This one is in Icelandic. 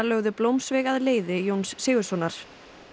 lögðu blómsveig að leiði Jóns Sigurðssonar